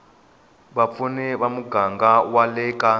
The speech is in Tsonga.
vapfuni ya muganga wa le